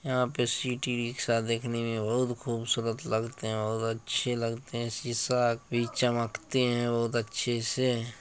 यहाँ पे सिटी रिक्शा देखने में बहुत खूबसूरत लगते हैं। बहुत अच्छे लगते हैं। शीशा भी चमकते हैं बहुत अच्छे से।